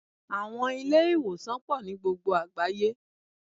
Àwọn Ilé-ìwòsàn pò nií gbogbo àgbáyé